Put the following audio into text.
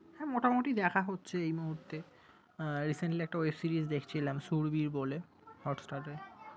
হ্যাঁ মোটামুটি দেখা হচ্ছে এই মুহূর্তে। আহ Recently একটা web series দেখছিলাম সুরভীর বলে hotstar এ।